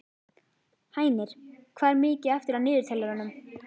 Hænir, hvað er mikið eftir af niðurteljaranum?